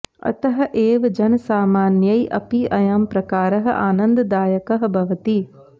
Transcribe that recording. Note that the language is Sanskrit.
अतः एव जनसामान्यैः अपि अयं प्रकारः आनन्ददायकः भवति